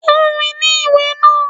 Fún mi ní ìwé náà.